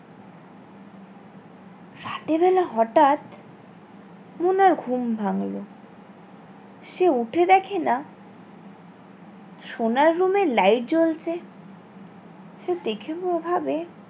রাতের বেলা হটাৎ মোনার ঘুম ভাঙলো সে উঠে দেখেনা সোনার room এ light জ্বলছে সে দেখে ও ভাবে